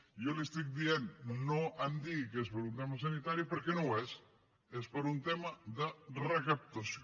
jo li estic dient no em digui que és per un tema sanitari perquè no ho és és per un tema de recaptació